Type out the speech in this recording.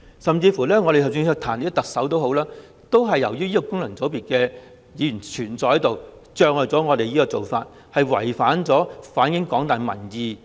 甚至當我們想彈劾特首，也由於功能界別的存在而阻礙了我們提出議案，令我們無法反映廣大民意。